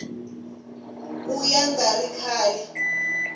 ka ya nga ri kahle